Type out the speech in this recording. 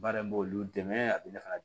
Baara in b'olu dɛmɛ a bɛ ne fana